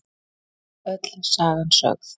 Öll sagan sögð